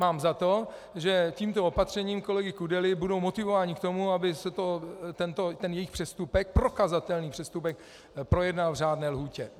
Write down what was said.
Mám za to, že tímto opatřením kolegy Kudely budou motivováni k tomu, aby se tento jejich přestupek, prokazatelný přestupek, projednal v řádné lhůtě.